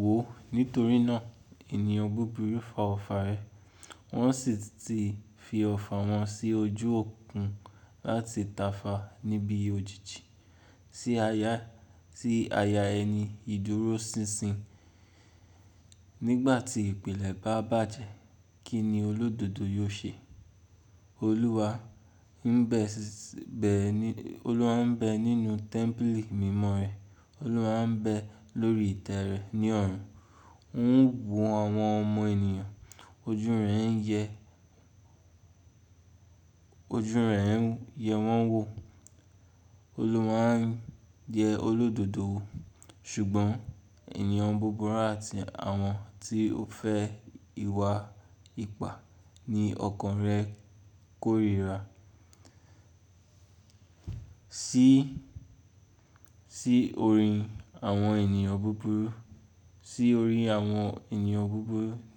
Wò ó, nítorí náà ènìyàn búburú fa ọfà rẹ̀, wọ́n sì ti fi ọfà wọn sí ojú òkun láti tàfa níbi òjìji, sí aya ẹni ìdúróṣinṣin. Nígbà tí ìpìlẹ̀ bá bàjẹ́, kí ni olódodo yóò ṣe? Olúwa ń bẹ nínú tẹ́ḿpílì mímọ́ rẹ̀, Olúwa ń bẹ lórí ìtẹ́ rẹ̀ ní ọ̀run. Ó ń wo àwọn ọmọ ènìyàn, ojú rẹ̀ ń yẹ wọ́n wò. Olúwa ń yẹ olódodo wò, ṣùgbọ́n ènìyàn búburú àti àwọn tí ó fẹ́ ìwà ipá ni ọkàn rẹ̀ kórìíra. Sí orí àwọn ènìyàn búburú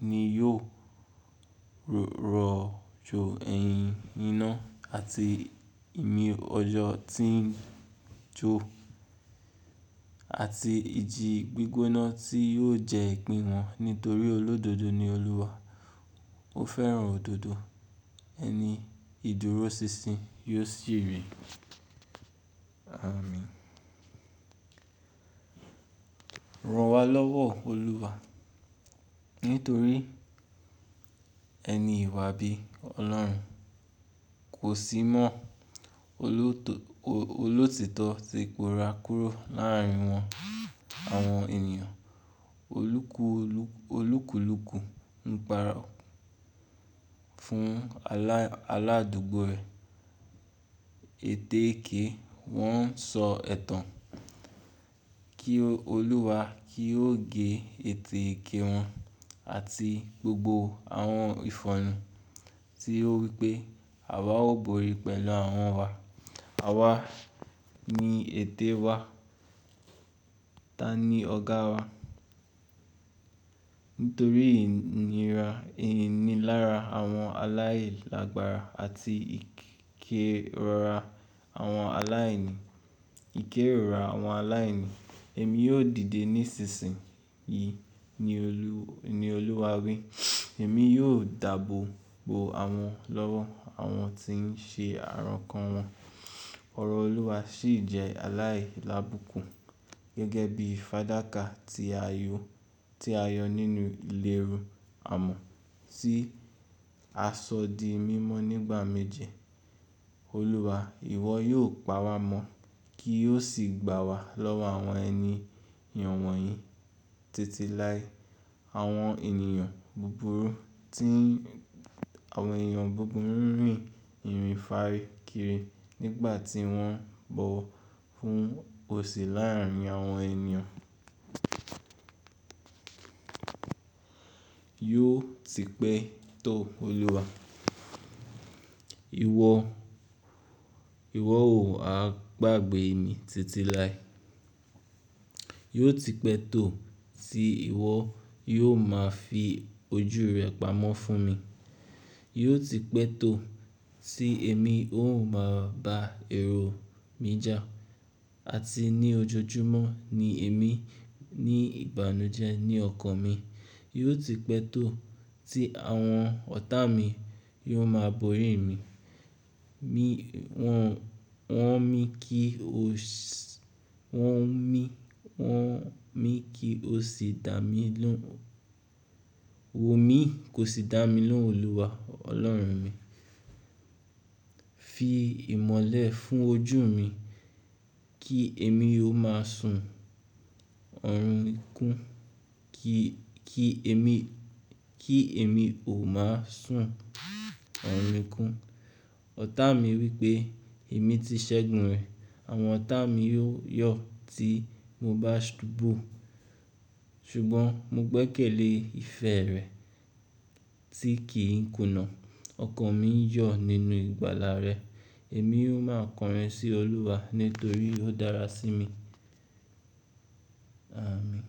ni yóò rọ̀jò ẹ̀hìn iná àti ìmí-ọjọ́ tí ń jó, àti ìjì gbígbóná tí yóò jẹ ìpín wọn. Nítorí olódodo ni Olúwa, ó fẹ́ràn òdodo, ẹni ìdúróṣinṣin yóò sì rí. Áàmin. Ran wá lọ́wọ́, Olúwa. Nítorí ẹni ìwà bí Ọlọ́run kò sí mọ́, olótítọ́ tí kò ra kúrò láàrín wọn. Àwọn ènìyàn olúkùlúkù ń paro fún aládùúgbò rẹ̀. Ètèke wọ́n ń sọ ẹ̀tàn kí Olúwa kí ó gé ètèke wọn àti gbogbo àwọn ìfọ̀nu tí ó wí pé àwa ó borí pẹ̀lú àwọn wa. Àwa ni ète wa, ta ni ọ̀gá wa? Nítorí ìnira ìnilára àwọn aláìlágbára àti ìkérora àwọn aláìní, èmi yóò dìde nísinsìnyí ni Olúwa wí. Èmi yóò dàbòbo àwọn lọ́wọ́ àwọn tí ń ṣe àrankàn wọn. Ọ̀rọ̀ Olúwa sì jẹ́ aláìlábùkún gẹ́gẹ́ bí fàdákà ti ayọ́ nínú ìlérù amọ̀ tí aṣọ di mímọ́ nígbà méje. Olúwa, ìwọ yóò pawá mọ́ kí ó sì gbá wa lọ́wọ́ àwọn ẹniyàn wọ̀nyìí títí lái. Àwọn ènìyàn búburú ń rìn ìrìn fàárí kiri nígbà tí wọ́n ń bọ̀ wọ́ fún òsì láàrín àwọn ènìyàn. Yóò ti pẹ́ tó, Olúwa. Ìwọ ò wa gbàgbé mi títí lái Yóò ti pẹ́ tó tí ìwọ yóò máa fi ojú rẹ pamọ́ fún mi. Yóò ti pẹ́ tó tí èmi ò máa ba ẹro mi já àti ní ojoojúmọ́ ni èmi ní ìbánujẹ́ ní ọkàn mi. Yóò ti pẹ́ tó tí àwọn ọ̀tá mi yóò máa borí mi. Wọ́ mi kí ó sì dà mí lóhùn. Wò mí kó sì dà mí lóhùn, Olúwa Ọlọ́run mi. Fi ìmọ́lẹ̀ fún ojú mi kí èmi ó máa sùn ọ̀run ikún. Ọ̀tá mi wí pé èmi ti ṣẹ́gun rẹ̀. Àwọn ọ̀tá mi yóò yọ̀ tí mo bá subu. Ṣùgbọ́n mo gbẹ́kẹ̀lé ìfẹ́ rẹ tí kì í kùnà. Ọkàn mi ń yọ̀ nínú ìgbàlà rẹ. Èmi yóò máa kọrin sí Olúwa nítorí ó dára sí mi. Áàmin.